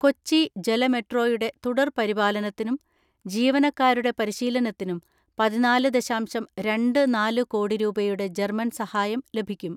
കൊച്ചി ജലമെട്രോയുടെ തുടർ പരിപാലനത്തിനും ജീവന ക്കാരുടെ പരിശീലനത്തിനും പതിനാല് ദശാംശം രണ്ട് നാല് കോടി രൂപയുടെ ജർമ്മൻ സഹായം ലഭിക്കും.